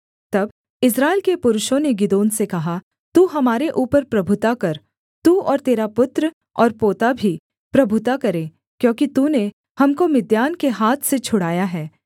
तब इस्राएल के पुरुषों ने गिदोन से कहा तू हमारे ऊपर प्रभुता कर तू और तेरा पुत्र और पोता भी प्रभुता करे क्योंकि तूने हमको मिद्यान के हाथ से छुड़ाया है